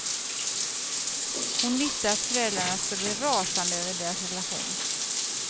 Hon visste att föräldrarna skulle bli rasande över deras relation.